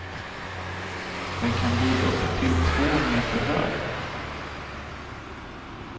Den kan bli upp till två meter hög.